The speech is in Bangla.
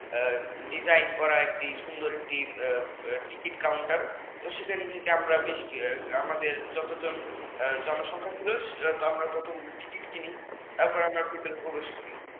design করা সুন্দর উম একটি টিকিট কাউন্টার এবং সেখান থেকে আমাদের যতজন জনসংখ্যা ছিল ততোগুলো টিকিট কিনি তারপর আমরা ভিতরে প্রবেশ করি